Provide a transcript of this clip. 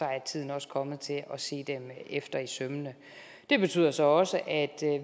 er tiden også kommet til at se dem mere efter i sømmene det betyder så også at